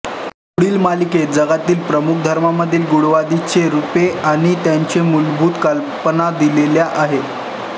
पुढील तालिकेत जगातील प्रमुख धर्मांमधील गूढवादाची रूपे आणि त्यांच्या मूलभूत कल्पना दिलेल्या आहेत